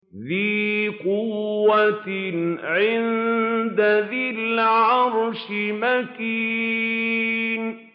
ذِي قُوَّةٍ عِندَ ذِي الْعَرْشِ مَكِينٍ